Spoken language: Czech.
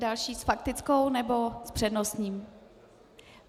Další - s faktickou, nebo s přednostním?